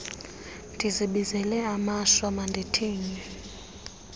ndizibizela amashwa mandithini